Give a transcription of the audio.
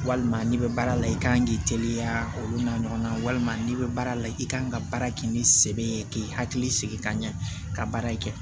Walima n'i bɛ baara la i kan k'i teliya olu n'a ɲɔgɔnna walima n'i bɛ baara la i kan ka baara kɛ ni sɛbɛ ye k'i hakili sigi ka ɲɛ ka baara in kɛ